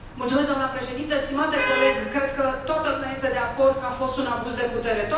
Doamnă președintă, stimate coleg, cred că toată lumea este de acord că a fost un abuz de putere.